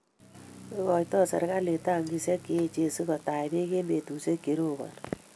Ikoiitoi serikalit tankihek che echen si ko tach beek eng' petushek che roboni